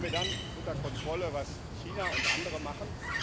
Haben wir dann unter Kontrolle, was China und andere machen?